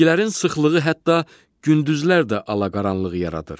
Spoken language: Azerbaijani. Bitkilərin sıxlığı hətta gündüzlər də alaqaranlıq yaradır.